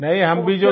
नहीं हम भी जो